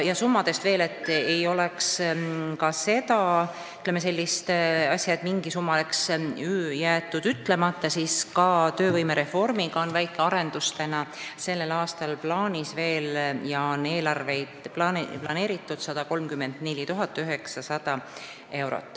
Selleks, et ei oleks sellist asja, et midagi oleks jäetud ütlemata, summadest veel nii palju, et sellel aastal on plaanis ka väike töövõimereformiga seotud arendus, milleks on eelarvesse planeeritud 134 900 eurot.